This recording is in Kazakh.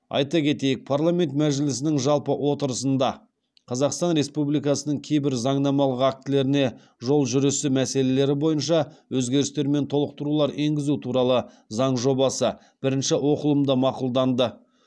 айта кетейік парламент мәжілісінің жалпы отырысында қазақстан республикасының кейбір заңнамалық актілеріне жол жүрісі мәселелері бойынша өзгерістер мен толықтырулар енгізу туралы заң жобасы бірінші оқылымда мақұлданды